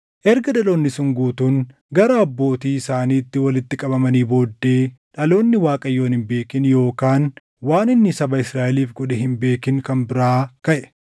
Erga dhaloonni sun guutuun gara abbootii isaaniitti walitti qabamanii booddee dhaloonni Waaqayyoon hin beekin yookaan waan inni saba Israaʼeliif godhe hin beekin kan biraa kaʼe.